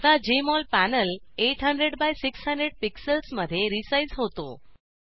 आता JMol panel 800 by 600 pixels मध्ये resize होतो